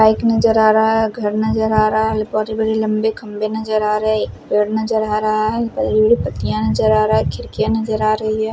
Bike नजर आ रहा है घर नजर आ रहा है बहोत ही बड़ी लम्बी खंबे नजर आ रहे पेड़ नजर आ रहा है पड़ी हुई पट्टीयां नजर आ रहा हैं खिड़कियां नजर आ रहीं हैं।